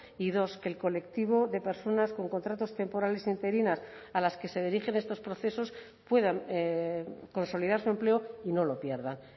y dos que el colectivo de personas con contratos temporales interinas a las que se dirigen estos procesos puedan consolidar su empleo y no lo pierdan